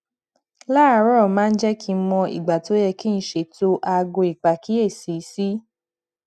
láàárò máa ń jé kí n mọ ìgbà tó yẹ kí n ṣètò aago ìpàkíyèsí sí